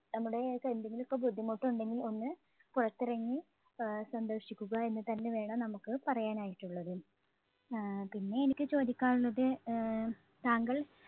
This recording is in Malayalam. നമ്മുടേതായിട്ട് എന്തെങ്കിലും ഒക്കെ ബുദ്ധിമുട്ട് ഉണ്ടെങ്കിൽ ഒന്ന് പുറത്തിറങ്ങി ആഹ് സന്തോഷിക്കുക എന്ന് തന്നെ വേണം നമുക്ക് പറയാനായിട്ടുള്ളത്. ആഹ് പിന്നെ എനിക്ക് ചോദിക്കാനുള്ളത് ആഹ് താങ്കൾ